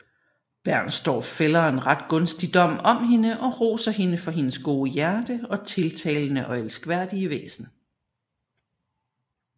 Bernstorff fælder en ret gunstig dom om hende og roser hende for hendes gode hjerte og tiltalende og elskværdige væsen